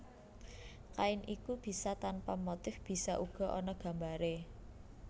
Kain iku bisa tanpa motif bisa uga ana gambaré